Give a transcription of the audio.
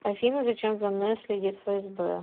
афина зачем за мной следит фсб